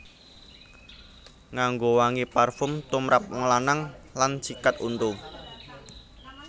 Nganggo wangi parfum tumrap wong lanang lan sikat untu